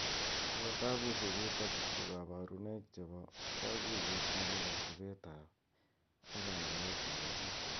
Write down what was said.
Ako tabushek chutok ko kabarunoik che bo kakuyet ne bo kasubet ab ak ka yweet nebo chi.